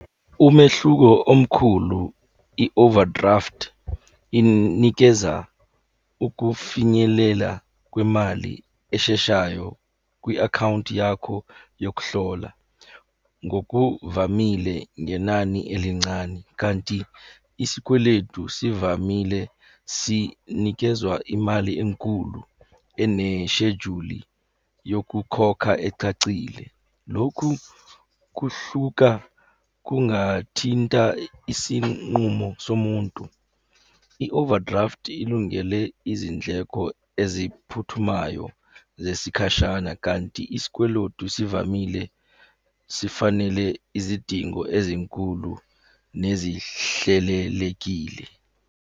Umehluko omkhulu i-overdraft inikeza ukufinyelela kwemali esheshayo kwi-akhawunti yakho yokuhlola ngokuvamile ngenani elincane, kanti isikweletu sivamile sinikezwa imali enkulu, eneshejuli yokukhokha ecacile. Lokhu kuhluka kungathinta isinqumo somuntu. I-overdraft ilungele izindleko eziphuthumayo zesikhashana, kanti isikwelotu zivamile sifanele izidingo ezinkulu nezihlelelekile.